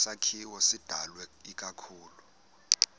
sakhiwo sidalwe ikakhulu